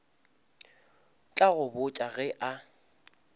tla go botša ge a